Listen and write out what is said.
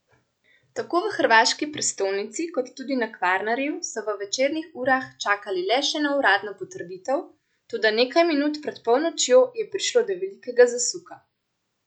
Tako v hrvaški prestolnici kot tudi na Kvarnerju so v večernih urah čakali le še na uradno potrditev, toda nekaj minut pred polnočjo je prišlo do velikega zasuka!